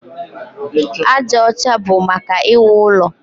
Aja ọcha bụ maka iwu ụlọ.